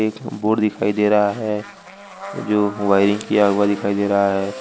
एक बोर्ड दिखाई दे रहा है जो वायरिंग किया हुआ दिखाई दे रहा है।